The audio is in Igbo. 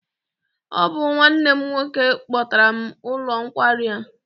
Ọ bụ nwanne m nwoke kpọtara m n'ụlọ nkwari a.